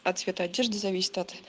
а цвет одежды зависит от